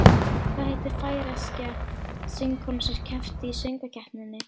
Hvað heitir færeyska söngkonan sem keppti í Söngvakeppninni?